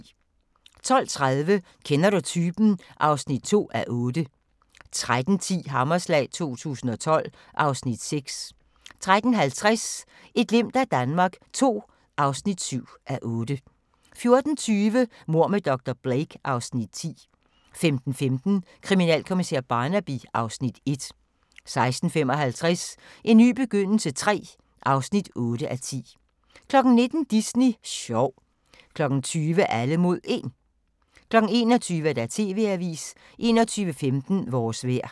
12:30: Kender du typen? (2:8) 13:10: Hammerslag 2012 (Afs. 6) 13:50: Et glimt af Danmark II (7:8) 14:20: Mord med dr. Blake (Afs. 10) 15:15: Kriminalkommissær Barnaby (Afs. 1) 16:55: En ny begyndelse III (8:10) 19:00: Disney sjov 20:00: Alle mod 1 21:00: TV-avisen 21:15: Vores vejr